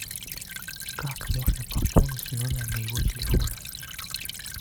как можно пополнить номер моего телефона